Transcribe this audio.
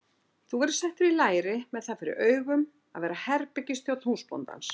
Þú verður settur í læri með það fyrir augum að verða herbergisþjónn húsbóndans.